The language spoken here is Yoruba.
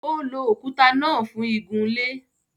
Ó lo òkuta náà fún igunlé.